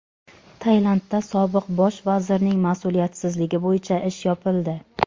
Tailandda sobiq bosh vazirning mas’uliyatsizligi bo‘yicha ish yopildi.